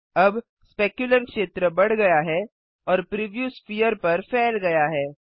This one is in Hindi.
अब स्पेक्युलर क्षेत्र बढ़ गया है और प्रिव्यू स्फेयर पर फैल गया है